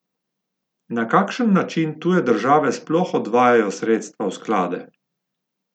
Na kakšen način tuje države sploh odvajajo sredstva v sklade?